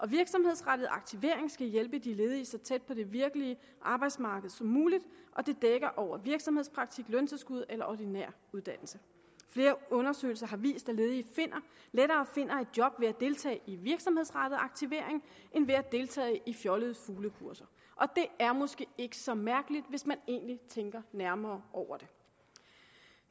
virksomhedsrettet aktivering skal hjælpe de ledige så tæt på det virkelige arbejdsmarked som muligt og det dækker over virksomhedspraktik løntilskud eller ordinær uddannelse flere undersøgelser har vist at ledige lettere finder et job ved at deltage i virksomhedsrettet aktivering end ved at deltage i fjollede fuglekurser og det er måske ikke så mærkeligt hvis man egentlig tænker nærmere over det